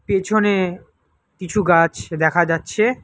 পেছনে কিছু গাছ দেখা যাচ্ছে।